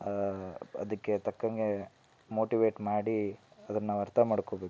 ಆಹ್ ಅದಕ್ಕೆ ತಕ್ಕಂಗೆ ಮೋಟಿವೇಟ್ ಮಾಡಿ ಅದನ್ನ ಅರ್ಥ್ ಮಾಡಕೋಬೇಕು.